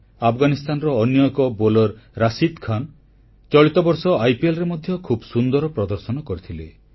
ଆଫଗାନିସ୍ଥାନର ଅନ୍ୟ ଏକ ବୋଲର ରଶିଦ୍ ଖାନ ଚଳିତ ବର୍ଷ ଆଇପିଏଲ୍ ଟୁର୍ଣ୍ଣାମେଣ୍ଟରେ ମଧ୍ୟ ଖୁବ୍ ସୁନ୍ଦର ପ୍ରଦର୍ଶନ କରିଥିଲେ